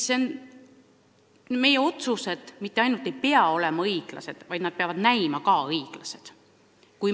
Meie otsused mitte ainult ei pea olema õiglased, vaid nad peavad ka näima õiglased.